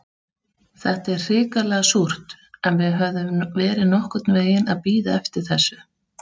Þetta er hrikalega súrt, en við höfðum verið nokkurn veginn að bíða eftir þessu.